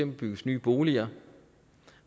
bygges nye boliger